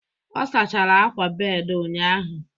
ọ sachara akwa bed ụnyahụ